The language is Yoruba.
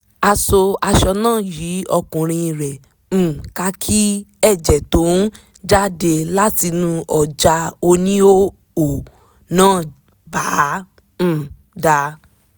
a so aṣọ náà yí orúnkún rẹ̀ um ká kí ẹ̀jẹ̀ tó ń jáde látinú ọ̀já oníhòòhò náà bàa um dà